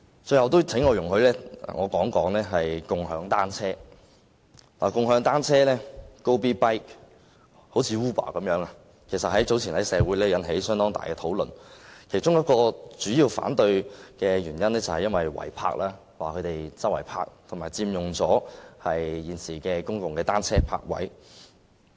最後，請容許我談談"共享單車 "，Gobee.bike 一如 Uber 般，早前在社會引起了相當大的爭議，反對它的其中一個主要原因是違泊，反對者指用家隨處停泊單車，並佔用了現時的公共單車泊位。